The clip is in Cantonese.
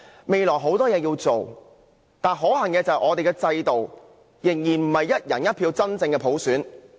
未來有很多工作要做，但可恨的是，現時的制度仍然不是基於"一人一票"的真普選。